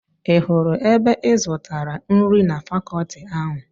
Ị hụrụ ebe ị zụtara nri na fakọọti ahụ.